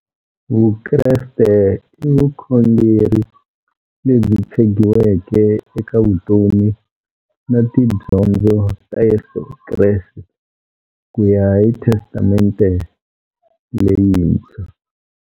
Vukreste i vukhongeri lebyi tshegiweke eka vutomi na tidyondzo ta Yesu Kreste kuya hi Testamente leyintshwa.